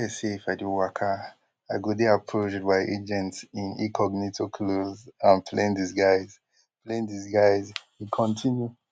dey say if i dey waka i go dey approached by agents in incognito clothes and plain disguise plain disguise e kontinu